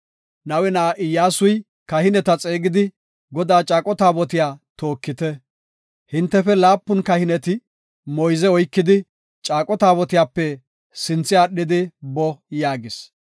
Nawe na7a Iyyasu kahineta xeegidi, “Godaa caaqo taabotiya tookite. Hintefe laapun kahineti moyze oykidi, caaqo taabotiyape sinthe aadhidi boo” yaagis.